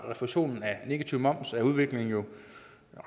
refusionen af negativ moms er udviklingen jo